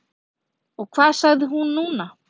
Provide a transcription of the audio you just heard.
Og hvað sagði hún núna?